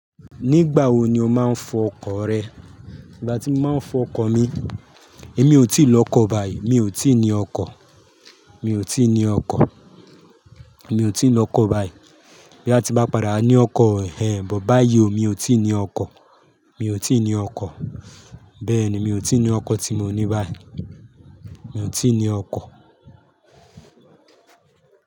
Nígbà wo ni o máa ń fọ ọkọ̀ rẹ? Ìgbà tí mo máa ń fọ ọkọ́ mi, èmi ò tíì lọ okọ́ báyìí, mi ò tíì ní ọkọ́, mi ò tíì ní ọkọ́, mi ò tí ì lọ kọ́ báyìí. Bí a ti bá padà ní ọkọ́, but báyìí mi ò tíì ní ọkọ́, mi ò tíì ní ọkọ́. Bẹ́ẹ̀ni mi ò tíì ní ọkọ́ tí mo ní báyìí, mi ò tíì ní ọkọ́